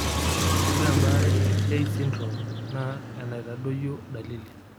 Ore embaare e Tay syndromr naa enaitadoyio dalili.